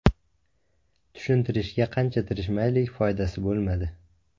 Tushuntirishga qancha tirishmaylik, foydasi bo‘lmadi.